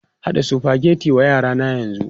Haɗa Sufageti wa yara na yanzu!